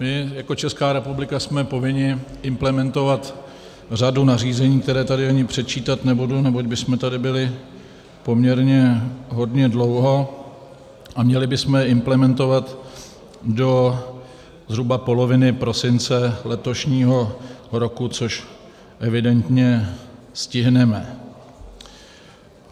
My jako Česká republika jsme povinni implementovat řadu nařízení, která tady ani předčítat nebudu, neboť bychom tady byli poměrně hodně dlouho, a měli bychom je implementovat do zhruba poloviny prosince letošního roku, což evidentně stihneme.